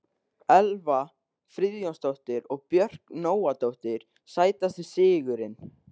Elva Friðjónsdóttir og Björk Nóadóttir Sætasti sigurinn?